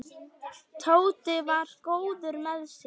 Tóti var góður með sig.